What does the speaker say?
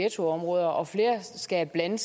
og skabe blandede